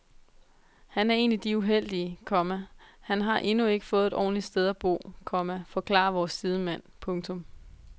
Han er en af de uheldige, komma han har endnu ikke fået et ordentligt sted at bo, komma forklarer vores sidemand. punktum